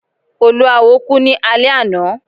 Olúawo ku ni alẹ ana